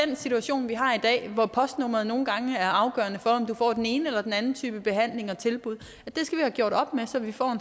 den situation vi har i dag hvor postnummeret nogle gange er afgørende for om du får den ene eller den anden type behandling og tilbud så vi får